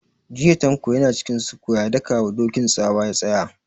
Jiya Tanko ya na cikin sukuwa ya daka wa Dokin tsawa ya tsaya!